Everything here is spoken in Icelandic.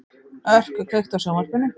Örk, kveiktu á sjónvarpinu.